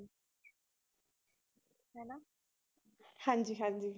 ਹਾਂਜੀ ਹਾਂਜੀ।